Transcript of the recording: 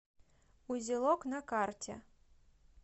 узелок на карте